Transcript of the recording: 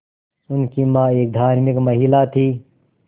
उनकी मां एक धार्मिक महिला थीं